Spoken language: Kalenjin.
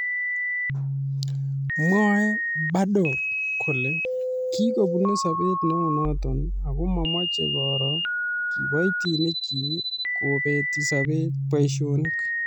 Mwaei Badoer kole kikobune sobet neunot ako mameche koro kiboitinikchi kobeti boisionik